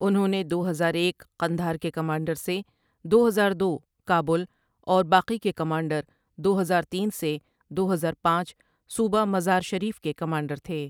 انہوں نے دو ہزار ایک قندھار کے کمانڈر سے دو ہزار دو کابل اور باقی کے کمانڈر دو ہزار تین سے دو ہزار پانچ صوبہ مزار شریف کے کمانڈر تھے۔